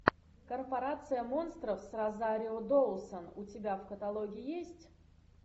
корпорация монстров с розарио доусон у тебя в каталоге есть